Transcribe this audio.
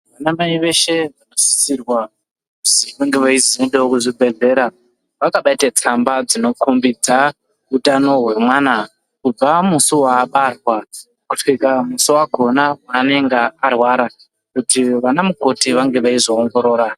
Vanamai veshe vanosisirwa kuzi vange veizoendawo kuzvibhedhlera ,vakabate tsamba dzinokhombidza utano hwemwana ,kubva musi waabarwa ,kusvika musi wakhona weanenga arwara, kuti vana mukoti vange veizoongirora.